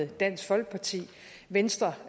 dansk folkeparti venstre